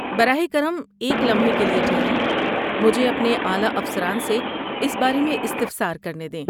براہ کرم ایک لمحے کے لیے ٹھہریں۔ مجھے اپنے اعلیٰ افسران سے اس بارے میں استفسار کرنے دیں۔